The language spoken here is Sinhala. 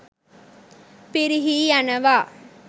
පිරිහී යනවා.